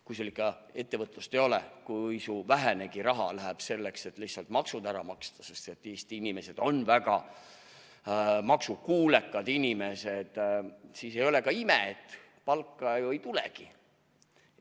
Kui sul ikka ettevõtlust ei ole, kui su vähenegi raha läheb selleks, et lihtsalt maksud ära maksta – Eesti inimesed on väga maksukuulekad inimesed –, siis ei ole ka ime, et palka ei tulegi.